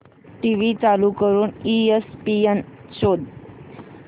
TV चालू करून ESPN शोध